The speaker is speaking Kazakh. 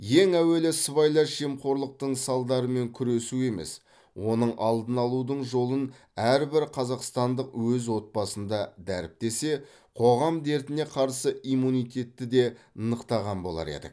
ең әуелі сыбайлас жемқорлықтың салдарымен күресу емес оның алдын алудың жолын әрбір қазақстандық өз отбасында дәріптесе қоғам дертіне қарсы иммунитетті де нықтаған болар едік